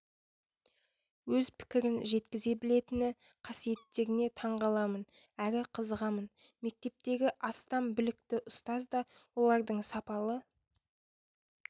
өз пікірін жеткізе білетіні қасиеттеріне таңғаламын әрі қызығамын мектептегі астам білікті ұстаз да олардың сапалы